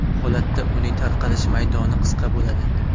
Bu holatda uning tarqalish maydoni qisqa bo‘ladi.